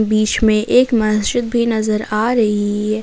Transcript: इसमें एक मस्जिद भी नजर आ रही है।